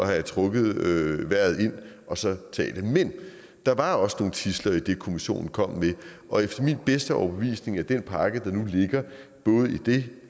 havde trukket vejret ind og så taget det men der var også nogle tidsler i det kommissionen kom med og efter min bedste overbevisning er den pakke der nu ligger både det